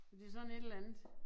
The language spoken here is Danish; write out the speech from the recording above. Men det sådan et eller andet